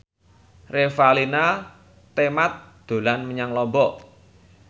Revalina Temat dolan menyang Lombok